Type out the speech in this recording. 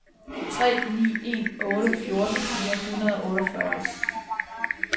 tre ni en otte fjorten fire hundrede og otteogfyrre